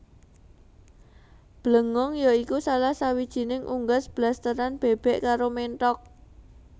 Blengong ya iku salah sawijining unggas blasteran bèbèk karo ménthok